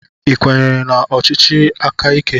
Ị kwenyere na ọchịchị aka ike?